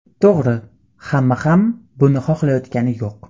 To‘g‘ri, hamma ham buni xohlayotgani yo‘q.